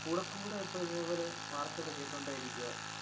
കൂടെ കൂടെ ഇപ്പൊ ഇതേപോലെ വാര്‍ത്തകള്‍ കേട്ടോണ്ടെയിരിക്കുവാ.